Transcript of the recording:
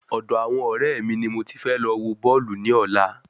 Ọ̀dọ àwọn ọrẹ mi ni mo ti fẹ́ lọ wọ Bọ́ọ̀lù ní ọ̀la